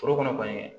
Foro kɔnɔ kɔni